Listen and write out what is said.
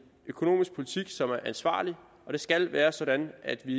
økonomisk politik som er ansvarlig og det skal være sådan at vi